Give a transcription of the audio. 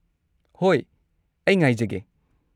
ꯍꯣꯏ꯫ ꯑꯩ ꯉꯥꯏꯖꯒꯦ꯫